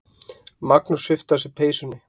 Magnús svipti af sér peysunni.